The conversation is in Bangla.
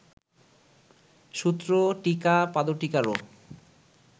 সূত্র, টীকা, পাদটীকারও